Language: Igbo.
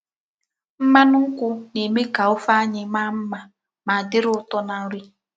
Mmánụ̀ nkwụ̀ na-eme ka ofé anyị maa mma ma dịrị ụtọ na nri.